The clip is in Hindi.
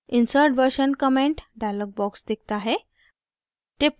insert version comment dialog box दिखता है